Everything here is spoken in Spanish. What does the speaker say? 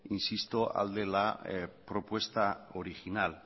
insisto al de la propuesta original